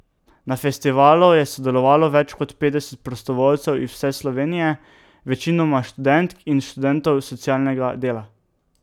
Na festivalu je sodelovalo več kot petdeset prostovoljcev iz vse Slovenije, večinoma študentk in študentov socialnega dela.